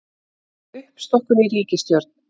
Uppstokkun í ríkisstjórn